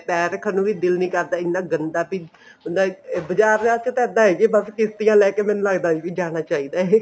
ਪੈਰ ਰੱਖਣ ਨੂੰ ਵੀ ਦਿਲ ਨੀ ਕਰਦਾ ਇੰਨਾ ਗੰਦਾ ਵੀ ਉਹਦਾ ਬਜਾਰ ਵਾਸਤੇ ਤਾਂ ਇੱਦਾਂ ਹੈ ਕਿਸ੍ਤੀਆਂ ਲੈਕੇ ਮੈਨੂੰ ਲੱਗਦਾ ਜਾਣਾ ਚਾਹੀਦਾ ਹੈ